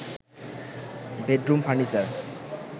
bedroom furniture